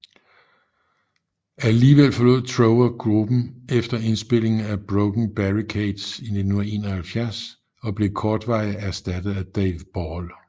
Alligevel forlod Trower gruppen efter indspilningen af Broken Barricades i 1971 og blev kortvarigt ersattet af Dave Ball